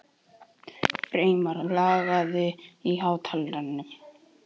Freymar, lækkaðu í hátalaranum.